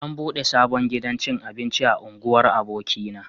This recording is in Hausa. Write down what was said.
An buɗe sabon gidan cin abinci a unguwar abokina